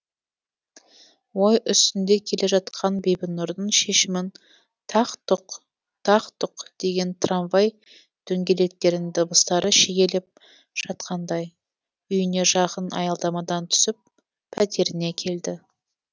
ой үстінде келе жатқан бибінұрдың шешімін тақ тұқ тақ тұқ деген трамвай дөңгелектерінің дыбыстары шегелеп жатқандай үйіне жақын аялдамадан түсіп пәтеріне келді